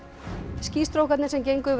skýstrókarnir sem gengu yfir